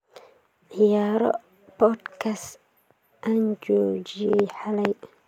ciyaaro podcast-kaas aan joojiyay xalay